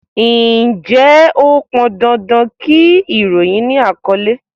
Ǹjẹ́ ó pọn dandan kí ìròyìn ni àkọ́lé?